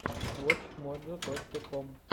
вотч моджо точка ком